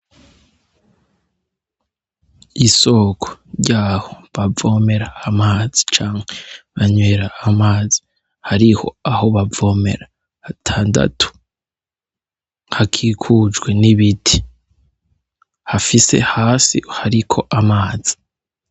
Isoko ry'aho bavomera amazi, canke banywera amazi. Hariho aho bavomera hatandatu. Hakikujwe n'ibiti, hafise hasi hariko amazi.